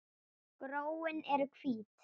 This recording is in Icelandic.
Gróin eru hvít.